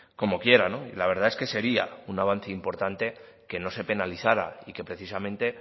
como quiera la verdad es que sería un avance importante que no se penalizara y que precisamente